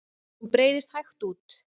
Hún breiðst hægt út.